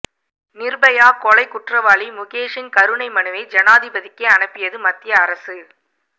நிர்பயா கொலை குற்றவாளி முகேஷின் கருணை மனுவை ஜனாதிபதிக்கு அனுப்பியது மத்திய அரசு